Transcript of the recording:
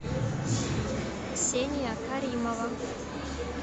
ксения каримова